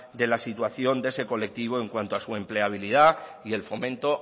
de la situación de ese colectivo en cuanto a su empleabilidad y el fomento